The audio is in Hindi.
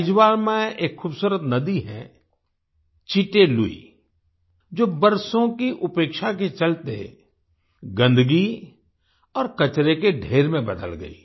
आइजवाल में एक खूबसूरत नदी है चिटे लुई जो बरसों की उपेक्षा के चलते गंदगी और कचरे के ढेर में बदल गई